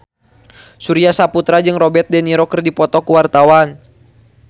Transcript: Surya Saputra jeung Robert de Niro keur dipoto ku wartawan